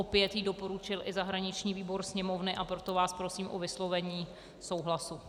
Opět ji doporučil i zahraniční výbor Sněmovny, a proto vás prosím o vyslovení souhlasu.